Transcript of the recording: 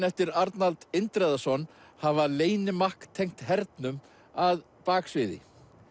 eftir Arnald Indriðason hafa leynimakk tengt hernum að baksviði